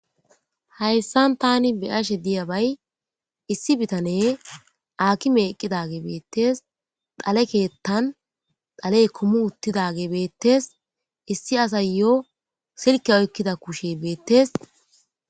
Haysan tani be'ashe diyabay isi bitane akime eqidage betes dhale kethan dhale kumi utidage betes issi asayo silkiya oykida kushe betes.